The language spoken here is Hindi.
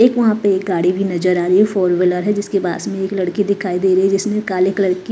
एक वहां पे गाड़ी भी नजर आ रही है फोर व्हीलर है जिसके पास में एक लड़की दिखाई दे रही है जिसने काले कलर की--